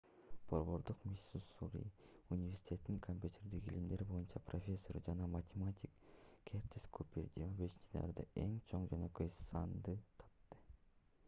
борбордук миссури университетинин копьютердик илимдер боюнча профессору жана математик кертис купер 25-январда эң чоң жөнөкөй санды тапты